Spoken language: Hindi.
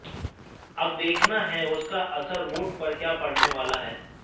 अब देखना है उसका असर वोट पर क्या पड़ने वाला है